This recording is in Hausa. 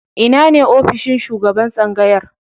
Ina ne ofishin shugaban tsangayar?